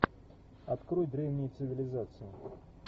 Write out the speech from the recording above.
открой древние цивилизации